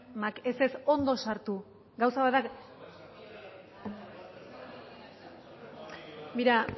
ez ez ondo sartu gauza bat da